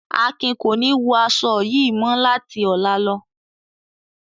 Akin ko ni wọ aṣọ yii mọ lati ọla lo.